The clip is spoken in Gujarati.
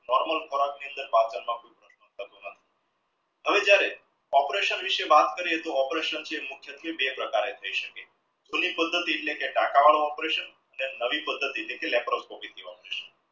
normal હવે જ્યરેહ operation વીસે વાત કર્યે તો operation બે પ્રકારે થઈ સકે પદ્ધતિ એટલે ટકા વડુ operation અને નવી પદ્ધતિ એટલે laproscopy operation